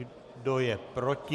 Kdo je proti?